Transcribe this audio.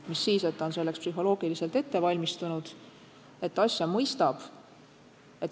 Mis siis, et ta on selleks psühholoogiliselt ette valmistatud, et ta asja mõistab.